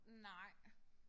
Nej